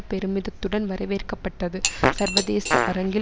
பெருமிதத்துடன் வரவேற்கப்பட்டது சர்வதேச அரங்கில்